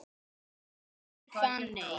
Þín dóttir, Fanney.